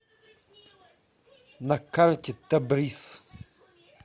на карте табрис